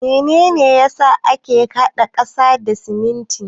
Mene ne ya sa ake hada ƙasa da siminti?